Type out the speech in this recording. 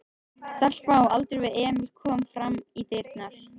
Stelpa á aldur við Emil kom fram í dyrnar.